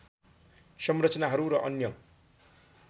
संरचनाहरू र अन्य